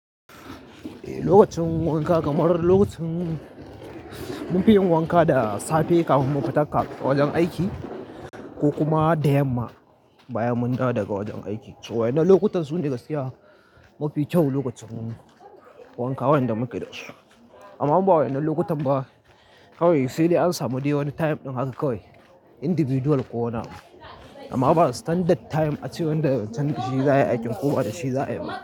Eh, lokacin wanka kamar lokacin munfi yin wanka da safe kafin mu fita wajen aiki ko kuma da yamma bayan mun dawo daga wajen aiki. Waɗannan lokutan sune gaskiya mafi kyau lokacin wanka wanda muke da shi. Amma inba waɗannan lokutan ba, kawai sai dai an samu dai wani time ɗin haka kawai individual ko wani abu. Amma babu standard time a cewa nan da can shi za yi aikin koba da shi za ayi ba.